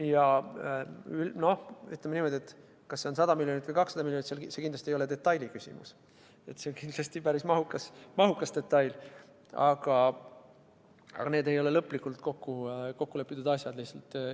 Ja noh, ütleme niimoodi, et see, kas omaosalus on 100 miljonit või 200 miljonit eurot, ei ole kindlasti detailiküsimus – see oleks päris mahukas detail –, aga summas ei ole veel lõplikult kokku lepitud.